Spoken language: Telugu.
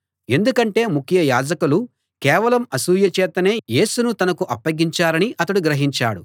ఎందుకంటే ముఖ్య యాజకులు కేవలం అసూయ చేతనే యేసును తనకు అప్పగించారని అతడు గ్రహించాడు